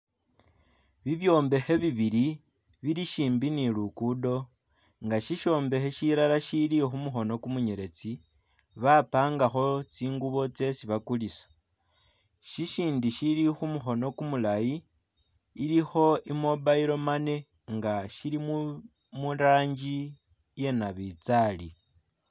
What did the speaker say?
Bibyombekhe bibili bili shimbi ne lugudo nga shishombekha shilala shishili khumukhono kumunyeletsi bapangakho tsi ngubo tsesi bakulisa, shshindi shili khumukhono kumulayi ilikho i mobile money nga shilimo murangi iye nabitsali